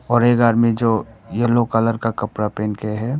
और एक आदमी जो येलो कलर का कपड़ा पहन के है।